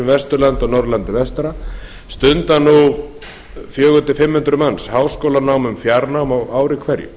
vesturlandi og norðurlandi vestra stunda nú fjögur hundruð til fimm hundruð manns háskólanám um fjárnám á ári hverju